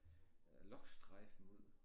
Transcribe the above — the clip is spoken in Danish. Øh lochstreifen ud